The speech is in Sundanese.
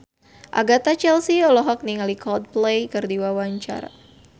Agatha Chelsea olohok ningali Coldplay keur diwawancara